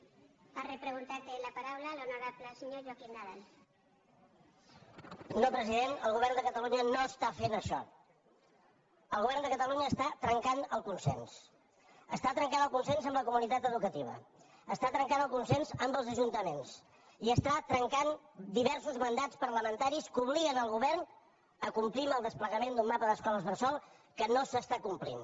no president el govern de catalunya no està fent ai·xò el govern de catalunya està trencant el consens està trencant el consens amb la comunitat educati·va està trencant el consens amb els ajuntaments i està trencant diversos mandats parlamentaris que obliguen el govern a complir el desplegament d’un mapa d’es·coles bressol que no s’està complint